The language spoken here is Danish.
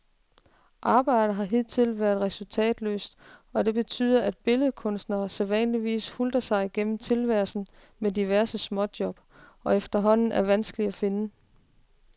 Arbejdet har hidtil været resultatløst, og det betyder, at billedkunstnerne sædvanligvis hutler sig gennem tilværelsen med diverse småjob, som efterhånden er vanskelige at finde.